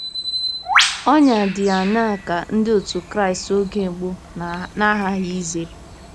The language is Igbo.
Ọnyà dị aṅaa ka Ndị Otú Kristi oge mbụ na-aghaghị izere?